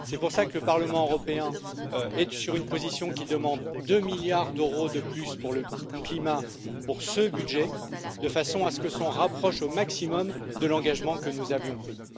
C'est pour cela que le Parlement européen est sur une position qui demande deux milliards d'euros de plus pour le climat dans ce budget, de façon à ce qu'on se rapproche au maximum de l'engagement que nous avions pris.